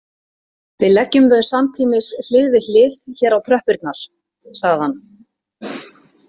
Við leggjum þau samtímis hlið við hlið hér á tröppurnar, sagði hann.